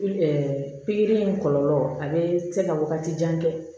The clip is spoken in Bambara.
pikiri in kɔlɔlɔ a bɛ se ka wagati jan kɛ